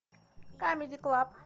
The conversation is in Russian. камеди клаб